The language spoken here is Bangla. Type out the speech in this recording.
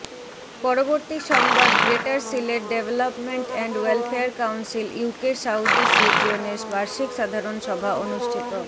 পরবর্তী সংবাদ greater Sylhet development and welfare council ইউকের সাউথইস্ট রিজিওনের বার্ষিক সাধারন সভা অনুষ্ঠিত